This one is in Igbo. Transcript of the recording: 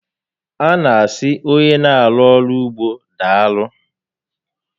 A na asị onye n'arụ ọrụ n'ugbo daalụ